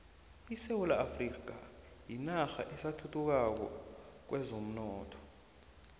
isewula afrika yinarha esathuthukako kwezomnotho